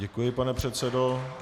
Děkuji, pane předsedo.